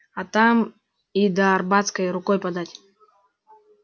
а там и до арбатской рукой подать